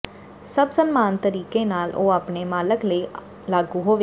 ਸਭ ਸਨਮਾਨ ਤਰੀਕੇ ਨਾਲ ਉਹ ਆਪਣੇ ਮਾਲਕ ਲਈ ਲਾਗੂ ਹੋਵੇਗੀ